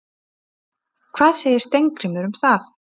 Hvað segir Steingrímur um það?